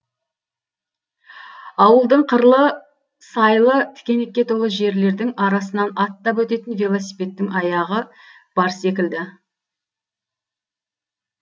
ауылдың қырлы сайлы тікенекке толы жерлердің арасынан аттап өтетін велосипедтін аяғы бар секілді